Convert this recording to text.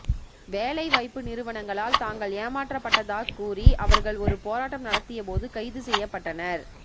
வேலைவாய்ப்பு நிறுவனங்களால் தாங்கள் ஏமாற்றப்பட்டதாக் கூறி அவர்கள் ஒரு போராட்டம் நடத்திய போது கைது செய்யப்பட்டனர்